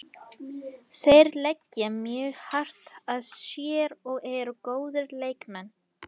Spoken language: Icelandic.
Þeir leggja mjög hart að sér og eru góðir leikmenn.